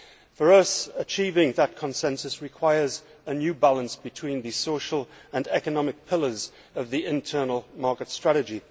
For us, achieving that consensus requires a new balance between the social and economic pillars of the internal market strategy.